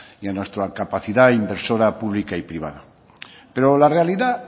y a nuestra capacidad inversora pública y privada pero la realidad